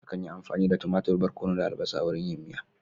Akan yi amfani da tumatur, barkono da albasa wurin yin miya